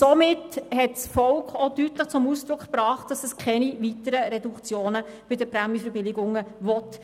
Es hat auch deutlich zum Ausdruck gebracht, dass es keine weiteren Reduktionen bei den Prämienverbilligungen will.